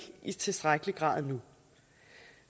i tilstrækkelig grad nu